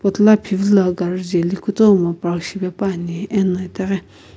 tila phivila gari jeli kutomo park shipepuani ena itaghi.